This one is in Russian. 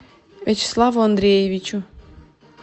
вячеславу андреевичу